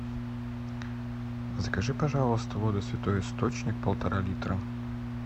закажи пожалуйста воду святой источник полтора литра